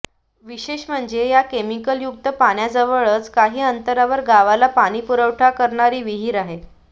विशेष म्हणजे या केमिकल युक्त पाण्याजवळच काही अंतरावर गावाला पाणी पुरवठा करणारी विहीर आहे